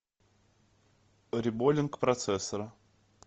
реболлинг процессора